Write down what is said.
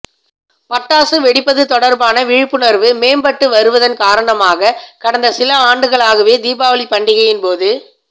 பட்டாசு வெடிப்பது தொடர்பான விழிப்புணர்வு மேம்பட்டு வருவதன் காரணமாக கடந்த சில ஆண்டுகளாகவே தீபாவளி பண்டிகையின் போது